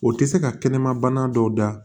O tɛ se ka kɛnɛmabana dɔw da